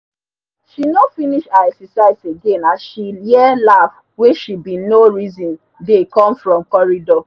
she nor finish her exercise again as she hear laff wen she bin nor reson dey com from corridor